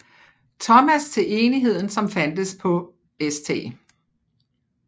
Thomas til Enigheden som fandtes på St